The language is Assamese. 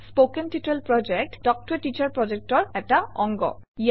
কথন শিক্ষণ প্ৰকল্প তাল্ক ত a টিচাৰ প্ৰকল্পৰ এটা অংগ